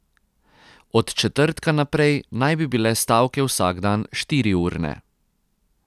Od četrtka naprej naj bi bile stavke vsak dan štiriurne.